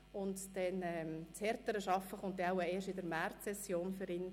Die harte Arbeit wird für ihn wohl erst in der Märzsession kommen.